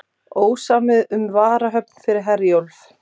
Ósamið um varahöfn fyrir Herjólf